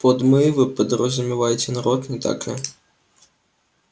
под мы вы подразумеваете народ не так ли